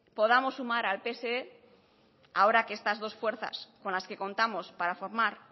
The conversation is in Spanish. podamos sumar al pse ahora que estas dos fuerzas con las que contamos para formar